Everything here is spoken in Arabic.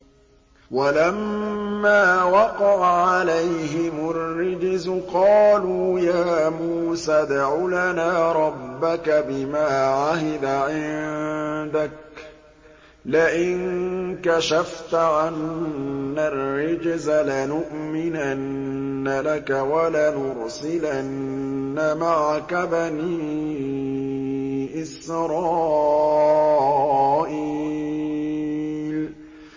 وَلَمَّا وَقَعَ عَلَيْهِمُ الرِّجْزُ قَالُوا يَا مُوسَى ادْعُ لَنَا رَبَّكَ بِمَا عَهِدَ عِندَكَ ۖ لَئِن كَشَفْتَ عَنَّا الرِّجْزَ لَنُؤْمِنَنَّ لَكَ وَلَنُرْسِلَنَّ مَعَكَ بَنِي إِسْرَائِيلَ